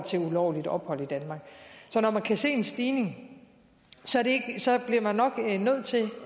ulovligt ophold i danmark så når man kan se en stigning bliver man nok